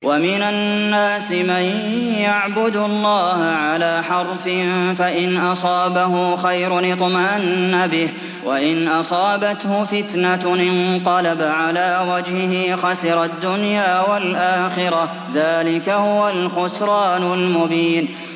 وَمِنَ النَّاسِ مَن يَعْبُدُ اللَّهَ عَلَىٰ حَرْفٍ ۖ فَإِنْ أَصَابَهُ خَيْرٌ اطْمَأَنَّ بِهِ ۖ وَإِنْ أَصَابَتْهُ فِتْنَةٌ انقَلَبَ عَلَىٰ وَجْهِهِ خَسِرَ الدُّنْيَا وَالْآخِرَةَ ۚ ذَٰلِكَ هُوَ الْخُسْرَانُ الْمُبِينُ